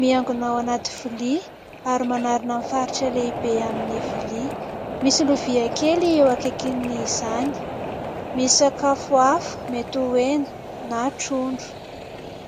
miangona ao anaty vilia ary manarona ny faritra lehibe amin'ny vilia. Misy lovia kely eo akaikin' izany. Misakafo hafa, metoy ho hena na trondro.